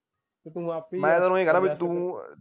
ਮੈਂ ਤੈਨੂੰ ਇਹ ਕਹਿਣਾ ਬਈ ਤੂੰ ਤੂੰ ਤੇ